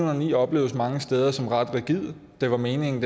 og ni opleves mange steder som ret rigid det var meningen